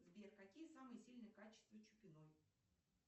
сбер какие самые сильные качества чупиной